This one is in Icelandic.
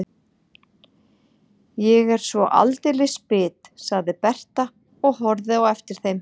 Ég er svo aldeilis bit, sagði Berta og horfði á eftir þeim.